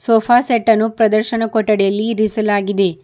Sofa set ಅನ್ನು ಪ್ರದರ್ಶನ ಕೊಠಡಿಯಲ್ಲಿ ಇರಿಸಲಾಗಿದೆ.